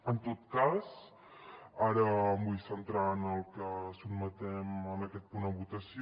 en tot cas ara em vull centrar en el que sotmetem en aquest punt a votació